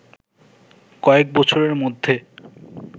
কয়েক বছরের মধ্যে